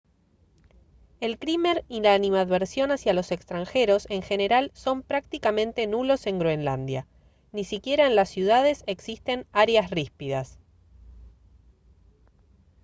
el crimen y la animadversión hacia los extranjeros en general son prácticamente nulos en groenlandia. ni siquiera en las ciudades existen «áreas ríspidas»